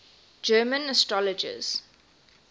german astrologers